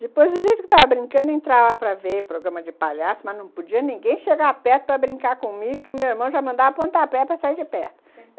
Depois, o jeito que eu tava brincando, entrava para ver programa de palhaço, mas não podia ninguém chegar perto para brincar comigo, que meu irmão já mandava pontapé para sair de perto.